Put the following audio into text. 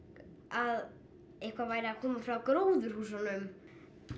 að eitthvað væri að koma frá gróðurhúsunum